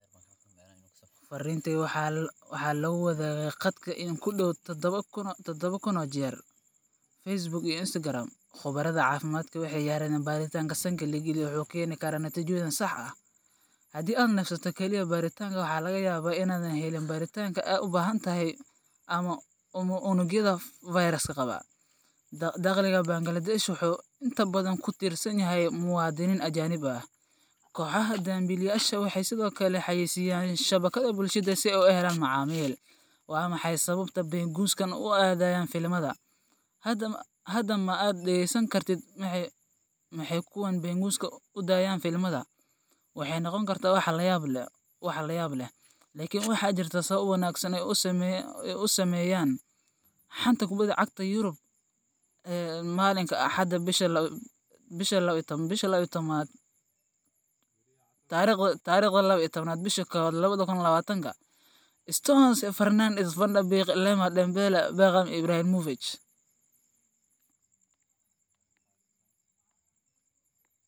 Fariinta waxaa lagu wadaagay khadka in ku dhow 7,000 jeer Facebook iyo Instagram. Khubarada caafimaadku waxay yiraahdeen, baaritaanka sanka la geliyo wuxuu keeni karaa natiijooyin sax ah. Haddii aad neefsato oo kaliya baaritaanka, waxaa laga yaabaa inaadan helin baaritaanka aad u baahan tahay ama unugyada fayraska qaba. Dakhliga Bangladesh wuxuu inta badan ku tiirsan yahay muwaadiniinta ajnabiga ah. Kooxaha dambiilayaasha ah waxay sidoo kale xayeysiiyaan shabakadaha bulshada si ay u helaan macaamiil. Waa maxay sababta penguins-kan u aadayaan filimada? Hadda ma aad dhegaysan kartid Maxay kuwan penguins u aadayaan filimada? Waxay noqon kartaa wax la yaab leh, laakiin waxaa jirta sabab wanaagsan oo ay u sameeyaan. Xanta Kubadda Cagta Yurub Axad 12.01.2020: Stones, Fernandes, Van de Beek, Lemar, Dembele, Wickham, Ibrahimovic